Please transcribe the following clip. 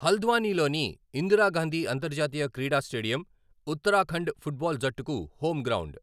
హల్ద్వానీలోని ఇందిరాగాంధీ అంతర్జాతీయ క్రీడా stadium Uttarakhand foot ball జట్టుకు హోమ్ గ్రౌండ్.